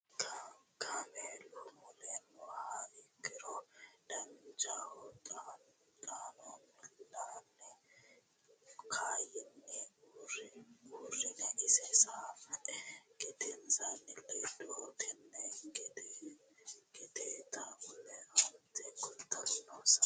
Kaameelu mule nooha ikkiro Danchaho xaano miillane kayinni uurrine isi sai gedensaanni ledo tenne gedeeta wole aante kultanno sa nanni.